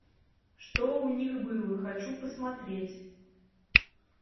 что у них было хочу посмотреть